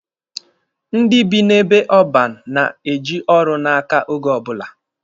Ndị bi n'ebe ọban na-eji ọrụ n'aka oge ọbụla.